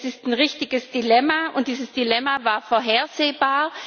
Es ist ein richtiges Dilemma, und dieses Dilemma war vorhersehbar.